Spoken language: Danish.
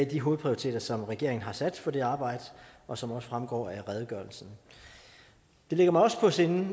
de hovedprioriteringer som regeringen har sat for det arbejde og som også fremgår af redegørelsen det ligger mig også på sinde